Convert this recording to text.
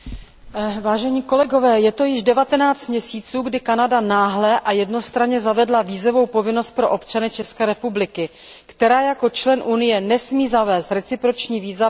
Je to již 19 měsíců, kdy Kanada náhle a jednostranně zavedla vízovou povinnost pro občany České republiky, která jako člen Unie nesmí zavést reciproční víza pro všechny Kanaďany.